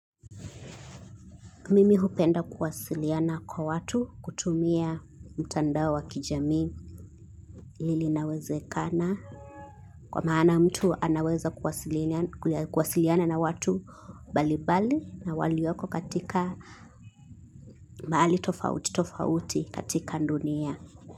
Mimi hupenda kuwasiliana kwa watu kutumia mtandao wa kijami linawezekana. Kwa maana mtu anaweza kuwasiliana na watu mbali mbali na walioko katika mahali tofauti tofauti katika dunia.